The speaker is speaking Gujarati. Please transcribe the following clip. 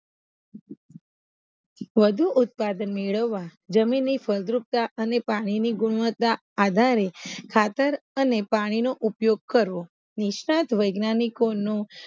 વધુ ઉત્પાદન મેળવવા જમીન ની ફળદ્રુપતા અને પાણી ની ગણવત્તા આધારે ખાતર અને પાણીનો ઉપયોગ કરવો નિષ્ણાત વૈજ્ઞાનિકો નુ